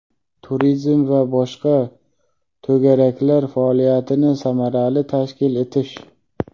turizm va boshqa) to‘garaklar faoliyatini samarali tashkil etish;.